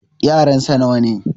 yaransa nawa ne?